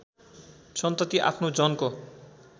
सन्तती आफ्नो जनको